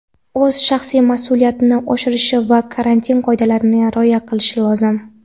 o‘z shaxsiy mas’uliyatini oshirishi va karantin qoidalariga rioya qilishi lozim.